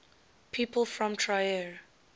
people from trier